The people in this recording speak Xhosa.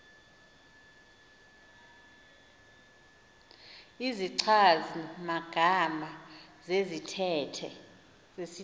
izichazi magama zesithethe